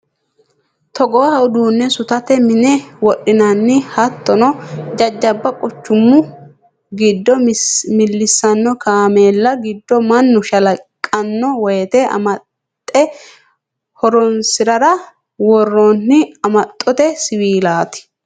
Togoha uduune suxate mine wodhinanni hattono jajjabba quchumu giddo millisano kaameella giddo mannu shalaqano woyte amaxe horonsirara worooni amaxote siwiilati.